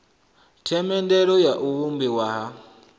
themendelo ya u vhumbiwa ha